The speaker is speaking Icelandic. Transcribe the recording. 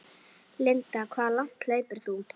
Linda: Hve langt hleypur þú?